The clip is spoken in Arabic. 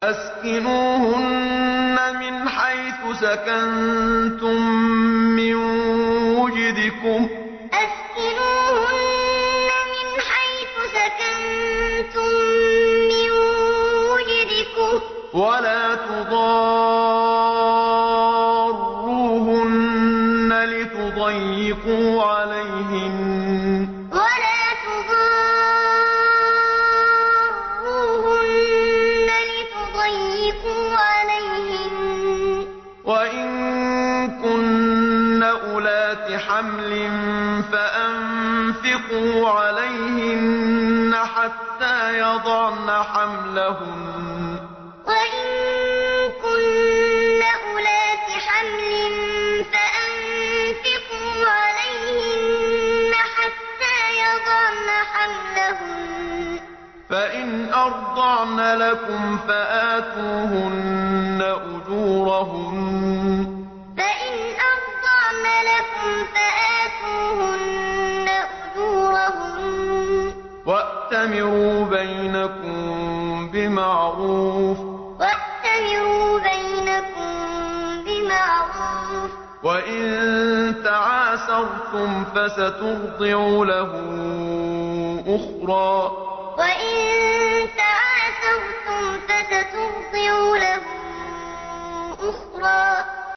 أَسْكِنُوهُنَّ مِنْ حَيْثُ سَكَنتُم مِّن وُجْدِكُمْ وَلَا تُضَارُّوهُنَّ لِتُضَيِّقُوا عَلَيْهِنَّ ۚ وَإِن كُنَّ أُولَاتِ حَمْلٍ فَأَنفِقُوا عَلَيْهِنَّ حَتَّىٰ يَضَعْنَ حَمْلَهُنَّ ۚ فَإِنْ أَرْضَعْنَ لَكُمْ فَآتُوهُنَّ أُجُورَهُنَّ ۖ وَأْتَمِرُوا بَيْنَكُم بِمَعْرُوفٍ ۖ وَإِن تَعَاسَرْتُمْ فَسَتُرْضِعُ لَهُ أُخْرَىٰ أَسْكِنُوهُنَّ مِنْ حَيْثُ سَكَنتُم مِّن وُجْدِكُمْ وَلَا تُضَارُّوهُنَّ لِتُضَيِّقُوا عَلَيْهِنَّ ۚ وَإِن كُنَّ أُولَاتِ حَمْلٍ فَأَنفِقُوا عَلَيْهِنَّ حَتَّىٰ يَضَعْنَ حَمْلَهُنَّ ۚ فَإِنْ أَرْضَعْنَ لَكُمْ فَآتُوهُنَّ أُجُورَهُنَّ ۖ وَأْتَمِرُوا بَيْنَكُم بِمَعْرُوفٍ ۖ وَإِن تَعَاسَرْتُمْ فَسَتُرْضِعُ لَهُ أُخْرَىٰ